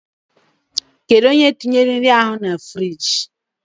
Kedụ onye tinyere nri ahụ na friiji?